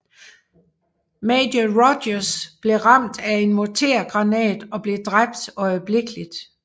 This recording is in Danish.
Major Rogers blev ramt af en mortergranat og blev dræbt øjeblikkeligt